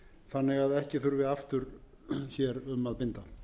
þannig að ekki þurfi aftur hér um að binda